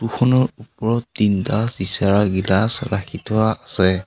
ওপৰত তিনিটা চিচাৰৰ গিলাছ ৰাখি থোৱা আছে।